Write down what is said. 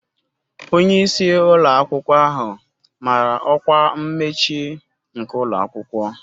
Onye isi ụlọ akwụkwọ ahụ mara ọkwa mmechi nke ụlọ akwụkwọ